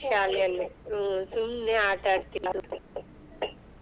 ಶಾಲೇಲಿ ಹ್ಮ್ ಸುಮ್ನೆ ಆಟಾ ಆಡತಿನಿ ಅಂತ.